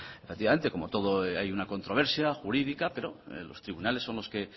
efectivamente como todo hay una controversia jurídica pero los tribunales son los que